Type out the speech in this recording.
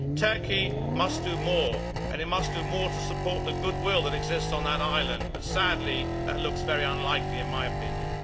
Turkey must do more, and it must do more to support the goodwill that exists on that island but, sadly, that looks very unlikely in my opinion.